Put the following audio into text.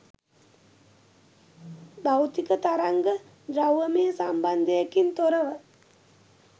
භෞතික තරංග ද්‍රව්‍යමය සම්බන්ධයකින් තොරව